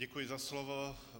Děkuji za slovo.